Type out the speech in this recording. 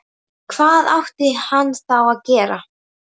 Hvað átti hann þá að gera?